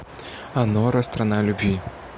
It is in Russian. анора страна любви